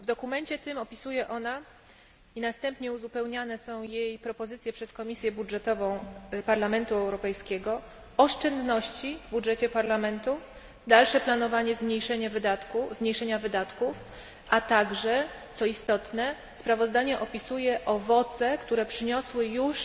W dokumencie tym opisuje ona, i następnie uzupełniane są jej propozycje przez Komisję Budżetową Parlamentu Europejskiego, oszczędności w budżecie Parlamentu, dalsze planowanie zmniejszenia wydatków, a także co istotne sprawozdanie opisuje owoce, które przyniosły już